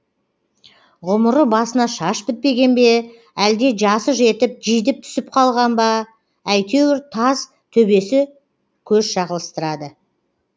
ғұмыры басына шаш бітпеген бе әлде жасы жетіп жидіп түсіп қалған ба әйтеуір таз төбесі көз шағылыстырады